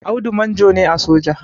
Audu manjo ne a soja